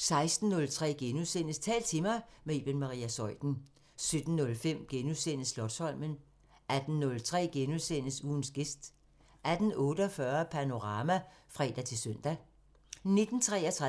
16:03: Tal til mig – med Iben Maria Zeuthen * 17:05: Slotsholmen * 18:03: Ugens gæst * 18:48: Panorama (fre-søn) 19:33: